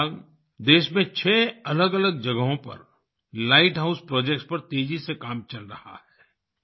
फिलहाल देश में 6 अलगअलग जगहों पर लाइट हाउस प्रोजेक्ट्स पर तेजी से काम चल रहा है